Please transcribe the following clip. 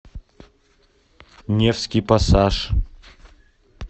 невский пассаж